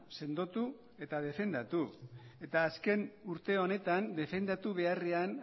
sendotu eta defendatu eta azken urte honetan defendatu beharrean